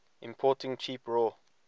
importing cheap raw